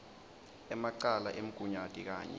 emacala emgunyati kanye